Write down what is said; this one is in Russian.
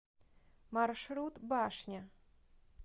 маршрут башня